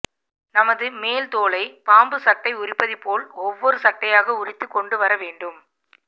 நமது மேல் தோலை பாம்பு சட்டை உரிப்பதுபோல் ஒவ்வரு சட்டையாக உரித்துக் கொண்டுவர வேண்டும்